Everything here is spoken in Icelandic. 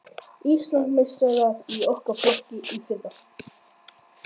Íslandsmeistarar í okkar flokki í fyrra.